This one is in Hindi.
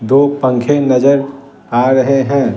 दो पंखे नजर आ रहे हैं ।